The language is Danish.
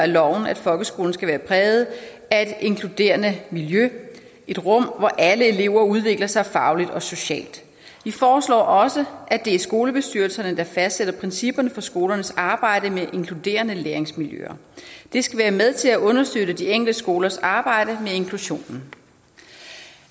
loven at folkeskolen skal være præget af et inkluderende miljø et rum hvor alle elever udvikler sig fagligt og socialt de foreslår også at det er skolebestyrelserne der fastsætter principperne for skolernes arbejde med inkluderende læringsmiljøer det skal være med til at understøtte de enkelte skolers arbejde med inklusionen